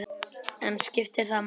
En skiptir það máli?